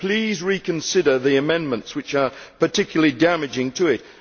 Please reconsider the amendments which are particularly damaging to it.